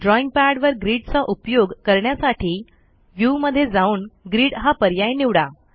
drawing pad वर grid चा उपयोग करण्यासाठी व्ह्यू मध्ये जाऊन ग्रीड हा पर्याय निवडा